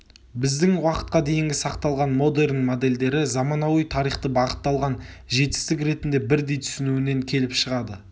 біздің уақытқа дейінгі сақталған модерн модельдері заманауи тарихты бағытталған жетістік ретінде бірдей түсінуінен келіп шығады